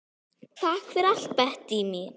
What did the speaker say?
Takk fyrir allt, Bettý mín.